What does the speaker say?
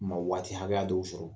Ma waati hakɛya dɔw sɔrɔ